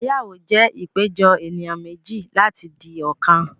Ìgbéyàwó jẹ́ ìpéjọ ènìyàn méjì láti di ọ̀kan